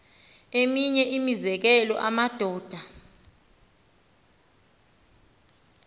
eminye imizekelo amadoda